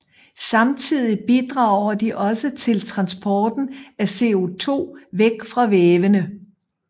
Samtidig bidrager de også til transporten af CO2 væk fra vævene